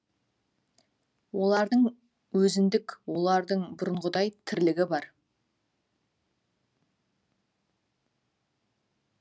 олардың өзіндік олардың бұрынғыдай тірлігі бар